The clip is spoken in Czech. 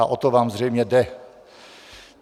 A o to vám zřejmě jde.